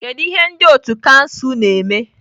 Kedu ihe ndị otu kansụl na-eme?